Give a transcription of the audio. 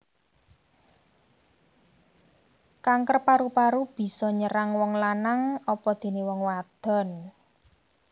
Kanker paru paru bisa nyerang wong lanang apadené wong wadon